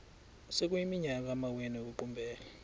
sekuyiminyaka amawenu ekuqumbele